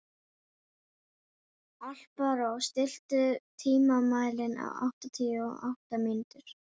Alparós, stilltu tímamælinn á áttatíu og átta mínútur.